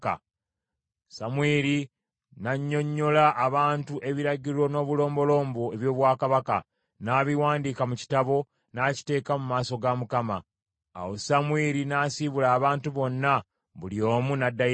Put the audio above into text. Samwiri n’annyonnyola abantu ebiragiro n’obulombolombo eby’obwakabaka, n’abiwandiika mu kitabo n’akiteeka mu maaso ga Mukama . Awo Samwiri n’asiibula abantu bonna, buli omu n’addayo ewuwe.